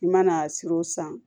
I mana siran o san